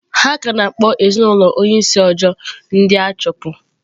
Ha ka na-akpọ ezinaụlọ onye isi Ojo ndị achụpụ.